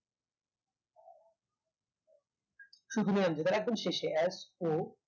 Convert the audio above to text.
একদম শেষে so